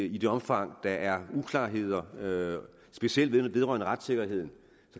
i det omfang der er uklarheder specielt vedrørende retssikkerheden